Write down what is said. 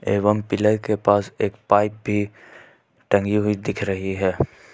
एवं पिलर के पास एक पाइप भी टंगी हुई दिख रही है।